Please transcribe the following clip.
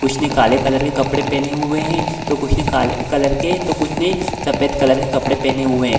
कुछ ने काले कलर के कपड़े पहने हुए है। तो कुछ ने काले कलर के तो कुछ ने सफेद कलर के कपड़े पहने हुए है।